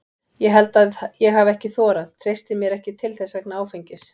Ég held að ég hafi ekki þorað, treysti mér ekki til þess vegna áfengis.